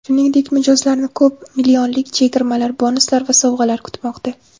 Shuningdek, mijozlarni ko‘p millionlik chegirmalar, bonuslar va sovg‘alar kutmoqda.